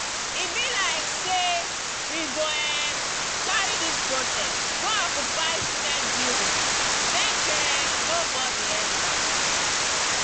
e be like sey we go um carry dis protest go occupy senate building make um nobodi enta.